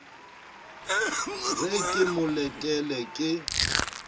re ke mo letele ke